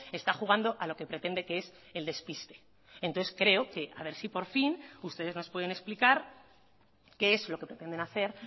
está jugando a lo que pretende que es el despiste entonces creo que a ver si por fin ustedes nos pueden explicar qué es lo que pretenden hacer